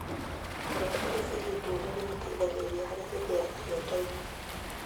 Kũrĩa biribiri ndune nĩgũteithagia harĩ gũthia irio ndainĩ.